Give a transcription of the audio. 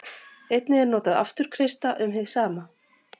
Einnig er notað afturkreista um hið sama.